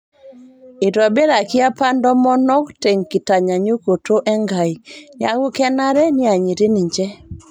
Eitobiraki apa ntomonok te nkitanyaaynyukoto Enkai, neeku kenare neanyiti ninche